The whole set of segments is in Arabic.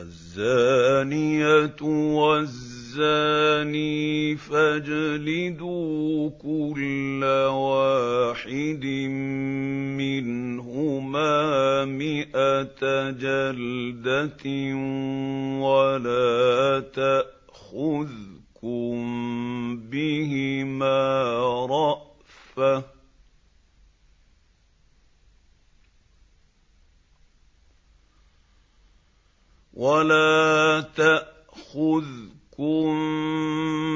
الزَّانِيَةُ وَالزَّانِي فَاجْلِدُوا كُلَّ وَاحِدٍ مِّنْهُمَا مِائَةَ جَلْدَةٍ ۖ وَلَا تَأْخُذْكُم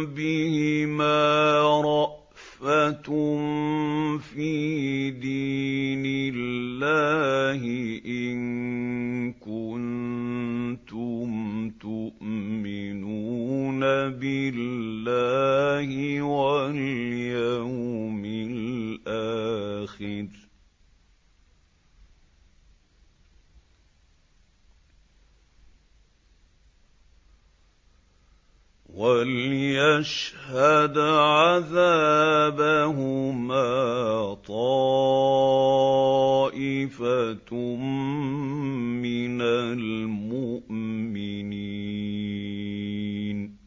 بِهِمَا رَأْفَةٌ فِي دِينِ اللَّهِ إِن كُنتُمْ تُؤْمِنُونَ بِاللَّهِ وَالْيَوْمِ الْآخِرِ ۖ وَلْيَشْهَدْ عَذَابَهُمَا طَائِفَةٌ مِّنَ الْمُؤْمِنِينَ